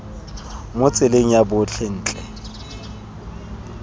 mo tseleng ya botlhe ntle